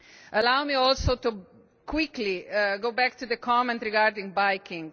Allow me also quickly to go back to the comment regarding cycling.